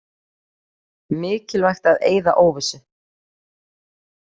Mikilvægt að eyða óvissu